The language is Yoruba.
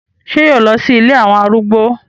Ṣé yóò lọ sí ilé àwọn arúgbó?